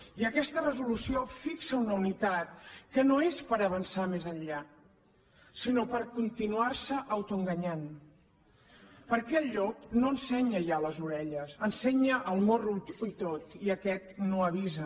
i aquesta resolució fixa una unitat que no és per avançar més enllà sinó per continuar se autoenganyant perquè el llop no ensenya ja les orelles ensenya el morro i tot i aquest no avisa